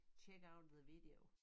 Check out the video